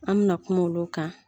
An mi na kuma olu kan.